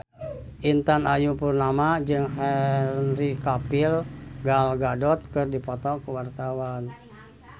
Intan Ayu Purnama jeung Henry Cavill Gal Gadot keur dipoto ku wartawan